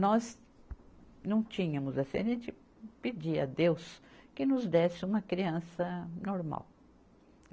Nós não tínhamos assim, a gente pedia a Deus que nos desse uma criança normal.